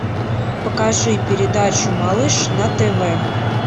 покажи передачу малыш на тв